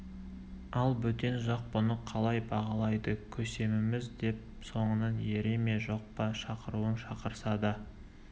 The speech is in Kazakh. ал бөтен жақ бұны қалай бағалайды көсеміміз деп соңынан ере ме жоқ па шақыруын шақырса да